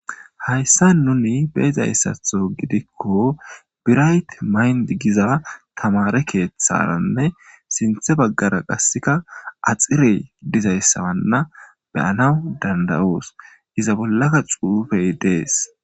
Hayssa nuni beezayssatho gidikko birayt mayndi giza tamare keeththaranne sinthe baggara qasseka axirey dizayssawanna beyanawu danda'os iza bollaka xuufey dees.